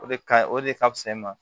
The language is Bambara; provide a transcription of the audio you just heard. O de ka ɲi o de ka fusa i ma